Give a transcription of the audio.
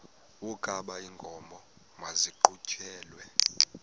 wokaba iinkomo maziqhutyelwe